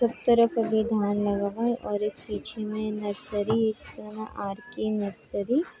सब तरफ भी धान लगा हुआ है और एक पीछे में नर्सरी सन आर.के. नर्सरी --